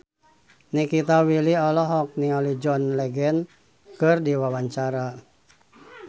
Nikita Willy olohok ningali John Legend keur diwawancara